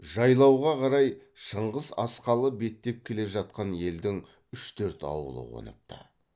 жайлауға қарай шыңғыс асқалы беттеп келе жатқан елдің үш төрт ауылы қоныпты